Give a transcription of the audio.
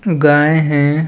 गाय है।